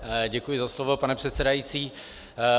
Děkuji za slovo, pane předsedající.